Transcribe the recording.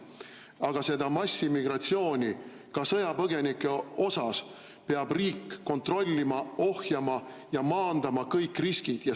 Aga seda massiimmigratsiooni peab riik ka sõjapõgenike puhul kontrollima, ohjama ja maandama kõik riskid.